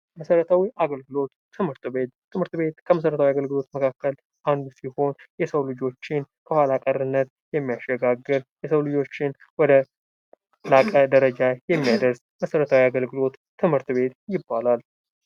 መሰረታዊ አገልግሎት ትምህርት ቤት ትምህርት ቤት ከመሰረታዊ አገልግሎት መካከል አንዱ ሲሆን ፤ የሰው ልጆችን ከኋላቀርነት የሚያሸጋግር የሰው ልጆችን ወደ ላቀ ደረጃ የሚያደርስ መሰረታዊ አገልግሎቶች ትምህርት ቤት ይባላል።